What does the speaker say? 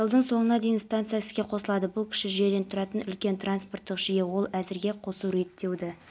заңдылықтың азаматтардың құқықтары мен бостандықтарының сақталуын қатаң бақылауға алу қажет бұл еліміздің орнықты әрі тұрақты